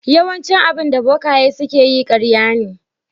Yawaicin abinda bokaye suke yi ƙarya ne.